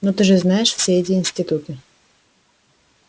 но ты же знаешь все эти институты